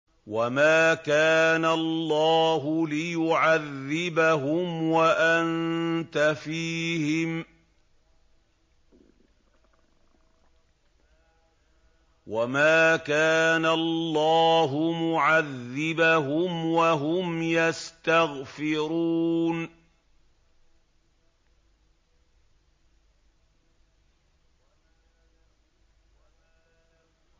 وَمَا كَانَ اللَّهُ لِيُعَذِّبَهُمْ وَأَنتَ فِيهِمْ ۚ وَمَا كَانَ اللَّهُ مُعَذِّبَهُمْ وَهُمْ يَسْتَغْفِرُونَ